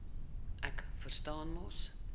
ek verstaan mos